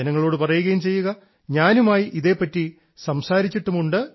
ജനങ്ങളോട് പറയുകയും ചെയ്യുക ഞാനുമായി ഇതെപ്പറ്റി സംസാരിച്ചിട്ടും ഉണ്ട് എന്ന്